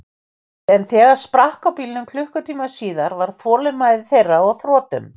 En þegar sprakk á bílnum klukkutíma síðar, var þolinmæði þeirra á þrotum.